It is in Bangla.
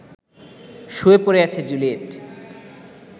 শুয়ে পড়ে আছে জুলিয়েট